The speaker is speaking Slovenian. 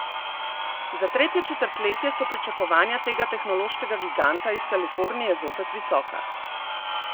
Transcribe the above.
Za tretje četrtletje so pričakovanja tega tehnološkega giganta iz Kalifornije zopet visoka.